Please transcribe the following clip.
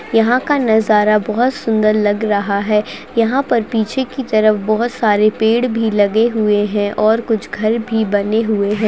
यहाँ का नजारा बहोत सुन्दर लग रहा है यहाँ पर पीछे की तरफ बहोत सारे पेड़ भी लगे हुए हैं और कुछ घर भी बने हुए हैं।